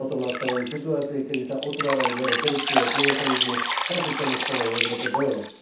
Potom nastávajú situácie, keď sa otvárajú dvere korupcie a klientelizmu, proti čomu chceme v Európe bojovať.